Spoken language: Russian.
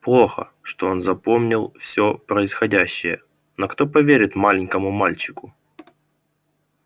плохо что он запомнил всё происходящее но кто поверит маленькому мальчику